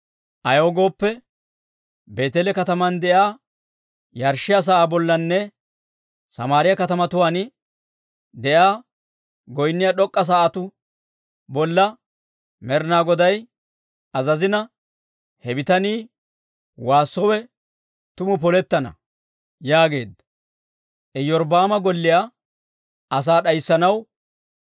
Ayaw gooppe, Beeteele kataman de'iyaa yarshshiyaa sa'aa bollanne Samaariyaa katamatuwaan de'iyaa goynniyaa d'ok'k'a sa'atuu bolla Med'inaa Goday azazina he bitanii waassowe tumu polettana» yaageedda.